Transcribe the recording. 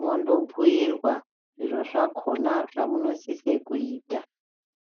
mondobhuirwa zviro zvakona zvamunosise kuita.